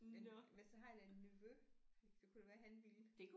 Men men så har jeg da en nevø det kunne da være han ville